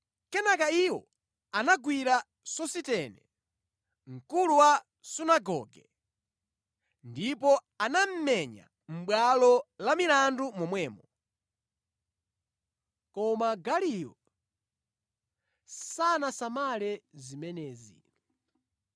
Kenaka iwo anagwira Sositene, mkulu wa sunagoge, ndipo anamumenya mʼbwalo la milandu momwemo. Koma Galiyo sanasamale zimenezi.